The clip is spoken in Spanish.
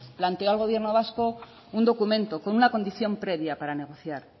planteó al gobierno vasco un documento con una condición previa para negociar